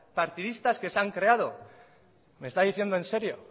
partidistas que se han creado me está diciendo en serio